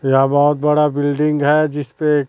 यहां बहोत बड़ा बिल्डिंग है जिस पे--